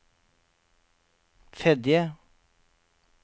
Fedje